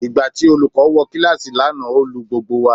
Ìgbà tí olùkọ́ wọ kíláàsì lánàá ó lu gbogbo wa.